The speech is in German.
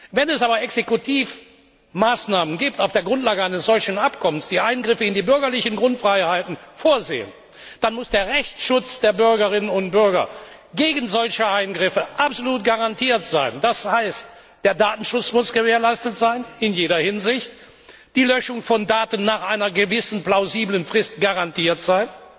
Wenn es aber Exekutivmaßnahmen aufgrund eines solchen Abkommens gibt, die Eingriffe in die bürgerlichen Grundfreiheiten vorsehen, dann muss der Rechtsschutz der Bürgerinnen und Bürger gegen solche Eingriffe absolut garantiert sein. Das heißt, der Datenschutz muss in jeder Hinsicht garantiert sein, die Löschung von Daten muss nach einer gewissen plausiblen Frist garantiert sein,